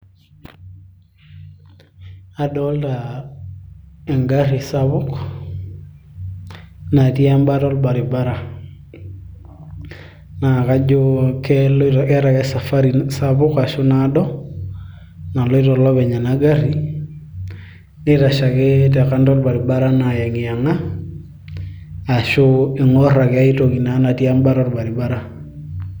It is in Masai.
adolta engarri sapuk natii embata orbaribara naa kajo keeta ake e safari sapuk ashu naado naloito olopeny ena garri nitashe ake te kando orbaribara naa ayeng'iyeng'a ashu ing'orr ake ae toki natii embata orbaribara.